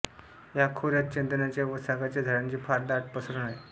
या खोऱ्यात चंदनाच्या व सागाच्या झाडांची फार दाट पसरण आहे